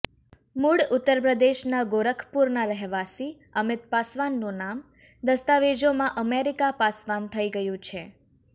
મૂળ ઉત્તરપ્રદેશના ગોરખપુરના રહેવાસી અમિત પાસવાનનું નામ દસ્તાવેજોમાં અમેરિકા પાસવાન થઇ ગયું છે